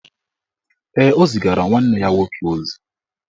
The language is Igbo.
Ee, o zigara nwanne ya nwoke ozi